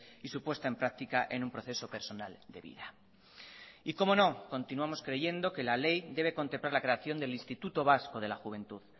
y su puesta en práctica en un proceso personal de vida y cómo no continuamos creyendo que la ley debe contemplar la creación del instituto vasco de la juventud